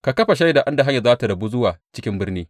Ka kafa shaida inda hanyar za tă rabu zuwa cikin birni.